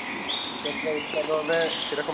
যে সব উত্তম হবে সেরকম